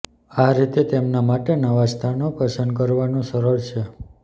આ રીતે તેમના માટે નવા સ્થાનો પસંદ કરવાનું સરળ છે